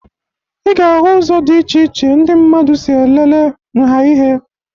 Ị ga-ahụ ụzọ dị iche iche ndị mmadụ si elele nha ihe